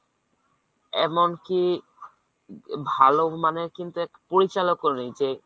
এমন কি ভাল মানের কিন্তু এখ~ পরিচালকও নেই যে